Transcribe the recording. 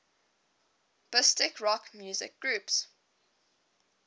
british rock music groups